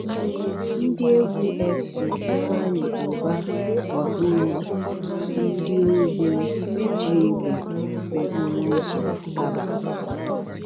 Ndị egwu FC Ifeanyi Uba wakporo ndị ohi ji egbe n'okporo ụzọ Kabba.